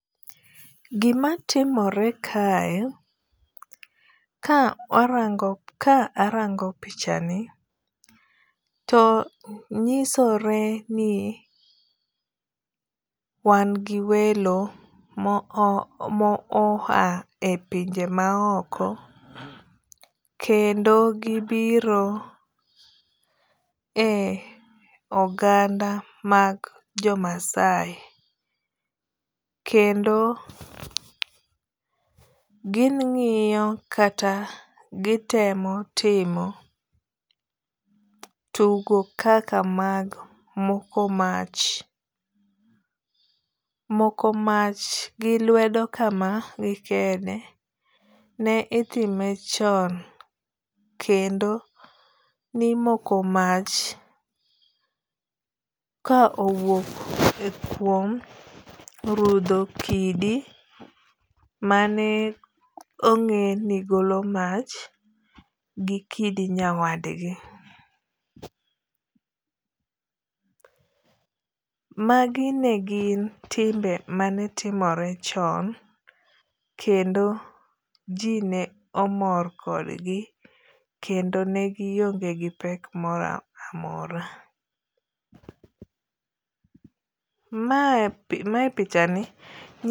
Gima timore kae, ka arango pichani to nyisore ni wan gi welo mo oha e pinje ma oko. Kendo gibiro e oganda mag jo Maasai. Kendo gi ng'iyo kata gitemo timo tugo kaka mag moko mach. Moko mach gi lwedo kama gi kede ne itime chon kendo nimoko mach ka owuok e kuom rudho kidi mane ong'e ni golo mach gi kidi nyawadgi. Magi ne gin timbe manetimore chon kendo ji ne omor kodgi kendo ne gionge gi pek moro amora. Mae pichani